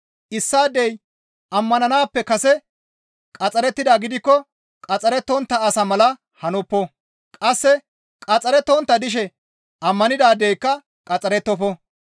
Issaadey ammananaappe kase qaxxarettida gidikko qaxxarettontta asa mala hanoppo. Qasse qaxxarettontta dishe ammanidaadeyka qaxxarettofo.